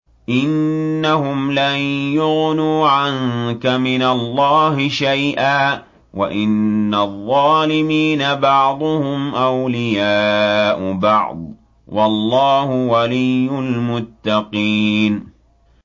إِنَّهُمْ لَن يُغْنُوا عَنكَ مِنَ اللَّهِ شَيْئًا ۚ وَإِنَّ الظَّالِمِينَ بَعْضُهُمْ أَوْلِيَاءُ بَعْضٍ ۖ وَاللَّهُ وَلِيُّ الْمُتَّقِينَ